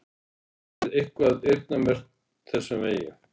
Erla: Er eitthvað eyrnamerkt þessum vegi?